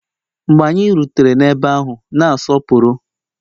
Mgbe anyị rutere ebe ahụ, na-asọpụrụ